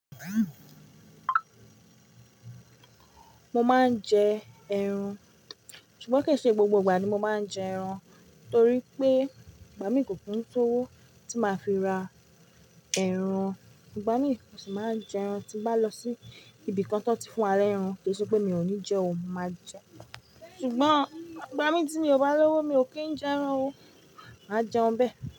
Mo máa ń jẹ ẹran, ṣùgbọ́n ke ṣe gbogbo ìgbà ni mo máa ń jẹ ẹran, torí pé igbá mi kò kúùn só wó tí máa fi ra ẹran. Igba mi mò ṣì máa ń jẹ ẹran, tí bá lọ sí ibìkan tan ti fún wa lẹ́ ẹran kì í ṣe pé mi ò ní jẹ o, màá jẹ ẹran. Ṣùgbọ́n igba mi tí miò bá lówó mi ò kí ń jẹ ẹran o, màá jẹun bẹ́ẹ̀